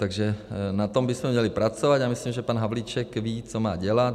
Takže na tom bychom měli pracovat, já myslím, že pan Havlíček ví, co má dělat.